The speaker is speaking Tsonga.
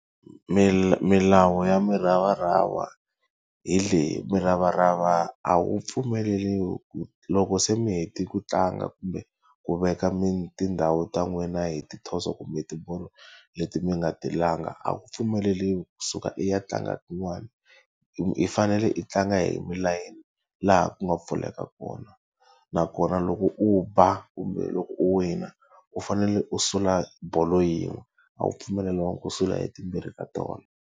Milawu ya muravarava hi leyi, muravarava a wu pfumeleriwi ku loko se mi hetile ku tlanga kumbe ku veka tindhawu ta n'wina hi ti thoso kumbe tibolo leti mi nga ti langa, a wu pfumeleriwi kusuka i ya tlanga tin'wani. I fanele i tlanga hi milayeni laha ku nga pfuleka kona. Nakona loko u ba kumbe loko u wina u fanele u sula bolo yin'we, a wu pfumeleriwanga ku sula hi timbirhi ka tona.